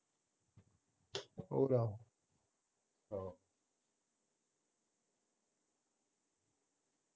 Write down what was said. ਆਹੋ